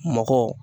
Mɔgɔ